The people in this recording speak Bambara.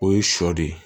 O ye sɔ de ye